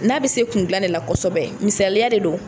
N'a bɛ se kun dilan de la kosɛbɛ misaliya de don.